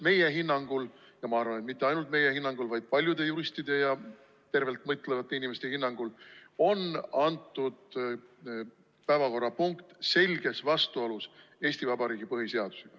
Meie hinnangul – ja ma arvan, et mitte ainult meie hinnangul, vaid paljude juristide ja tervelt mõtlevate inimeste hinnangul – on antud päevakorrapunkt selges vastuolus Eesti Vabariigi põhiseadusega.